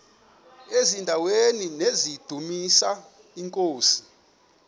eziaweni nizidumis iinkosi